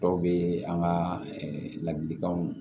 Dɔw bɛ an ka ladilikanw